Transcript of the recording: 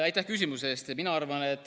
Aitäh küsimuse eest!